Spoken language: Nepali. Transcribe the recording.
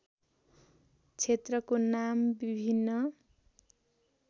क्षेत्रको नाम विभिन्न